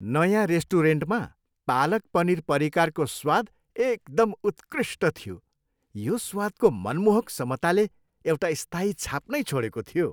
नयाँ रेस्टुरेन्टमा पालक पनीर परिकारको स्वाद एकदम उत्कृष्ट थियो, यो स्वादको मनमोहक समताले एउटा स्थायी छाप नै छोडेको थियो।